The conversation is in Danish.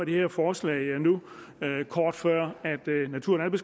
det her forslag nu kort før natur